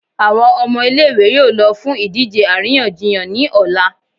Awọn ọmọ ile-iwe yóò lọ fún idije aríyànjiyàn ni ọla.